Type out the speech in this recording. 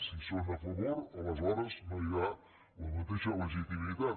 si són a favor aleshores no hi ha la mateixa legitimitat